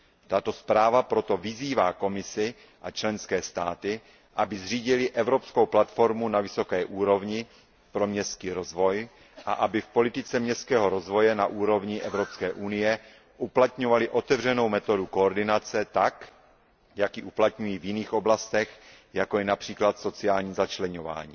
Tato zpráva proto vyzývá Komisi a členské státy, aby zřídily evropskou platformu na vysoké úrovni pro městský rozvoj a aby v politice městského rozvoje na úrovni Evropské unie uplatňovaly otevřenou metodu koordinace tak, jak ji uplatňují v jiných oblastech, jako je například sociální začleňování.